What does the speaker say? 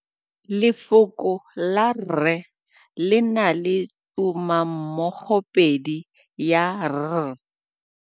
Lefoko la rre le na le tumammogôpedi ya, r.